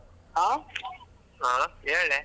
ಆ .